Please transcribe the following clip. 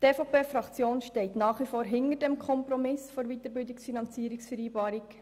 Die EVP-Fraktion steht nach wie vor hinter dem Kompromiss der Weiterbildungsfinanzierungsvereinbarung.